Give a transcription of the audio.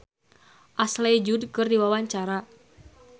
Marshanda olohok ningali Ashley Judd keur diwawancara